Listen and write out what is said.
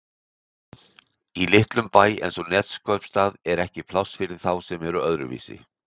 Í litlum bæ eins og Neskaupstað er ekki pláss fyrir þá sem eru öðruvísi.